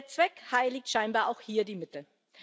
Der Zweck heiligt scheinbar auch hier die Mittel.